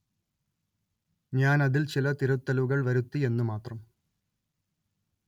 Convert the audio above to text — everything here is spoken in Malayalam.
ഞാന്‍ അതില്‍ ചില തിരുത്തലുകള്‍ വരുത്തി എന്നു മാത്രം